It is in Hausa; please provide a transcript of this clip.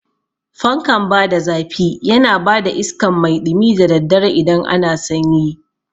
Fankan bada zafi yana bada iskan mai ɗumi da daddare idan ana sanyi